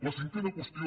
la cinquena qüestió